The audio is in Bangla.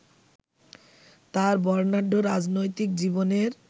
তাঁর বর্ণাঢ্য রাজনৈতিক জীবনের